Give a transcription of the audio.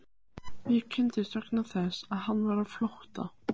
Við kynntumst vegna þess að hann var á flótta.